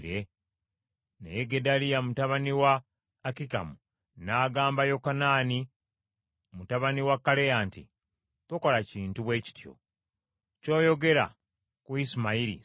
Naye Gedaliya mutabani wa Akikamu n’agamba Yokanaani mutabani wa Kaleya nti, “Tokola kintu bwe kityo! Ky’oyogera ku Isimayiri si kituufu.”